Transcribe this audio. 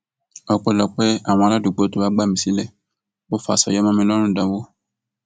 ọpẹlọpẹ àwọn aládùúgbò tó wàá gbà mí sílé ò faṣọ ya mọ mi lọrùn dánwò